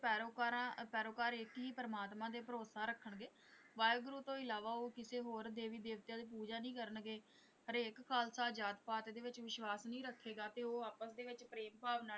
ਪੈਰੋਕਾਰਾਂ ਪੈਰੋਕਾਰ ਇੱਕ ਹੀ ਪ੍ਰਮਾਤਮਾ ਤੇ ਭਰੋਸ਼ਾ ਰੱਖਣਗੇ ਵਾਹਿਗੁਰੂ ਤੋਂ ਇਲਾਵਾ ਉਹ ਕਿਸੇ ਹੋਰ ਦੇਵੀ ਦੇਵਤਿਆਂ ਦੀ ਪੂਜਾ ਨਹੀਂ ਕਰਨਗੇ ਹਰੇਕ ਖ਼ਾਲਸਾ ਜਾਤ-ਪਾਤ ਦੇ ਵਿੱਚ ਵਿਸ਼ਵਾਸ ਨਹੀਂ ਰੱਖੇਗਾ ਤੇ ਉਹ ਆਪਸ ਦੇ ਵਿੱਚ ਪ੍ਰੇਮ ਭਾਵ ਨਾਲ।